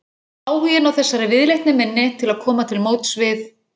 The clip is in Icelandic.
Áhuginn á þessari viðleitni minni til að koma til móts við